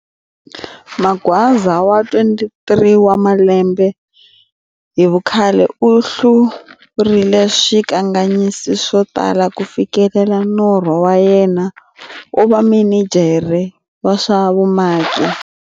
Magwaza wa 23 wa malembe hi vukhale u hlurile swikanganyisi swo tala ku fikelela norho wa yena wo va mininjhere wa swa vumaki.